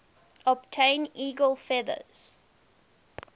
obtain eagle feathers